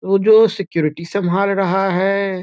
ऊ जो सिक्यूरिटी संभाल रहा है।